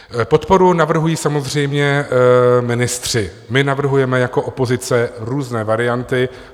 Podporu navrhují samozřejmě ministři, my navrhujeme jako opozice různé varianty.